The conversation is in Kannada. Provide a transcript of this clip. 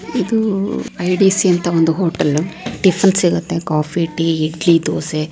ಇದು ಐ. ಡಿ. ಸಿ ಅಂಥಾ ಒಂದು ಹೋಟೆಲ್ ಟಿಪ್ಪನ್ ಸಿಗುತ್ತೆ ಕಾಫಿ ಟೀ ಇಡ್ಲಿ ದೋಸೆ --